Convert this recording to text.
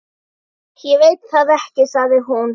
Ég veit það ekki sagði hún.